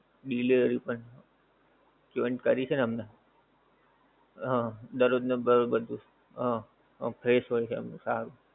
delivery પણ join કરી છે ને એમને? હં દરરોજ ને દરરોજ બધુ હં fresh હોય છે એમનું સારું.